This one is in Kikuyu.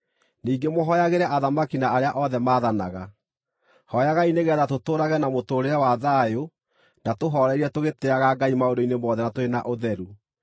Ningĩ mũhooyagĩre athamaki na arĩa othe mathanaga. Hooyagai nĩgeetha tũtũũrage na mũtũũrĩre wa thayũ na tũhooreire tũgĩtĩĩaga Ngai maũndũ-inĩ mothe na tũrĩ na ũtheru.